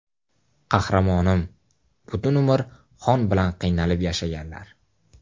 Qahramonim, butun umr xon bilan qiynalib yashaganlar.